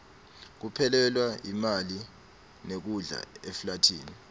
kuphelelwa yimali nekudla eflathini